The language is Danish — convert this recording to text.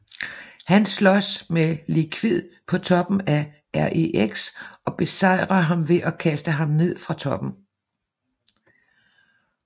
Han slås med Liquid på toppen af REX og besejrer ham ved at kaste ham ned fra toppen